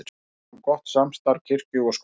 Áfram gott samstarf kirkju og skóla